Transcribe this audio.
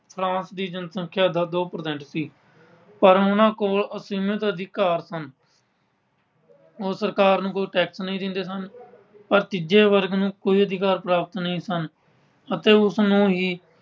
France ਦੀ ਜਨਸੰਖਿਆ ਦਾ ਦੋ percent ਸੀ। ਪਰ ਉਨ੍ਹਾਂ ਕੋਲ ਅਸੀਮਿਤ ਅਧਿਕਾਰ ਸਨ। ਉਹ ਸਰਕਾਰ ਨੂੰ ਕੋਈ tax ਨਹੀਂ ਦਿੰਦੇ ਸਨ। ਪਰ ਤੀਜੇ ਵਰਗ ਨੂੰ ਕੋਈ ਅਧਿਕਾਰ ਪ੍ਰਾਪਤ ਨਹੀਂ ਸਨ ਅਤੇ ਉਸਨੂੰ ਹੀ